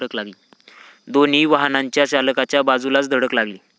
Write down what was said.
दोन्ही वाहनाच्या चालकाच्या बाजूलाच धडक लागली.